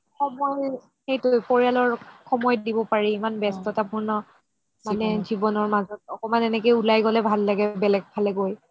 সময় সেইটো পৰিয়ালক সময় দিব পাৰি ইমান ব্যস্ততা পুৰণ জিৱনৰ মাজত একমান এনেকে উলাই গ'লে ভাল লাগে বেলেগ ফালে গৈ